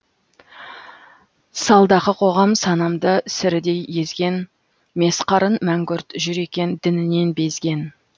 салдақы қоғам санамды сірідей езген месқарын мәңгүрт жүр екен дінінен безген